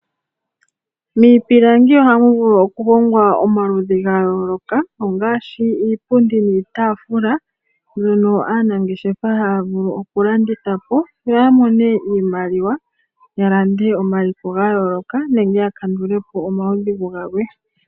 Miipilangi ohamu vulu okuhongwa iinima yomaludhi ga yooloka, ngaashi iipundi niitaafula mbyono aanangeshefa haya vulu okulanditha po opo ya mone iimaliwa ya lande omaliko ga yooloka nenge ya kandulepo omaudhigu galwe.